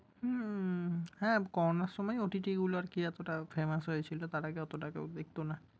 হুমম হ্যাঁ করোনার সময় OTT গুলা আরকি এতোটা famous হয়েছিলো। তার আগে অতোটা কেউ দেখতো না।